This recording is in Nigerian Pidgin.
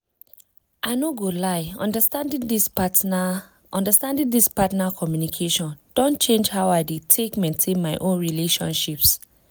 i no go lie understanding this partner understanding this partner communication don change how i dey take maintain my own relationships.